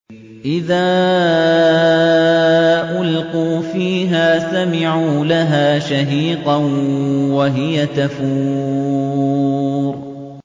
إِذَا أُلْقُوا فِيهَا سَمِعُوا لَهَا شَهِيقًا وَهِيَ تَفُورُ